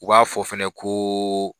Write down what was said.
U b'a fɔ fana koo.